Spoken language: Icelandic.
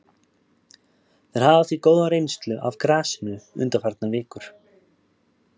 Þeir hafa því góða reynslu af grasinu undanfarnar vikur.